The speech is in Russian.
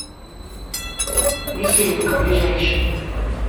веселинка ближайший